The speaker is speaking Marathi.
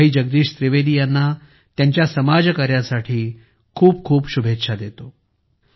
मी भाई जगदीश त्रिवेदी यांना त्यांच्या समाज कार्यासाठी खूप खूप शुभेच्छा देतो